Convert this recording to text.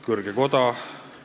Kõrge koda!